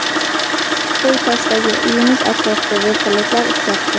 Qo‘y-Toshdagi uyimiz atrofida vertolyotlar uchyapti.